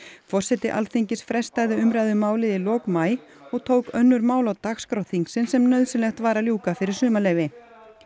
forseti Alþingis frestaði umræðu um málið í lok maí og tók önnur mál á dagskrá þingsins sem nauðsynlegt var að ljúka fyrir sumarleyfi